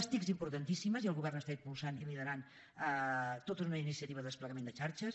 les tic importantíssimes i el govern està impulsant i liderant tota una iniciativa de desplegament en xarxes